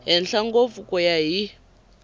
henhla ngopfu ku ya hi